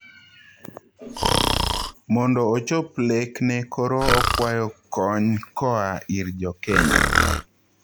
Mondo ochop lek ne koro okwayo kony koaa ir jokenya